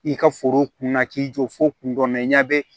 I ka foro kunna k'i jɔ fo kundɔrɔmɛ ɲage